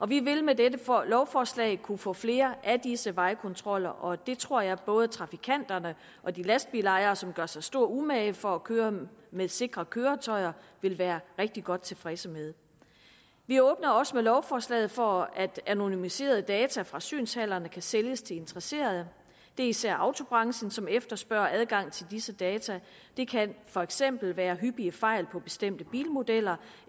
vi vil med dette lovforslag kunne få flere af disse vejkontroller og det tror jeg både trafikanterne og de lastbilejere som gør sig stor umage for at køre med sikre køretøjer vil være rigtig godt tilfredse med vi åbner også med lovforslaget for at anonymiserede data fra synshallerne kan sælges til interesserede det er især autobranchen som efterspørger adgang til disse data det kan for eksempel være hyppige fejl på bestemte bilmodeller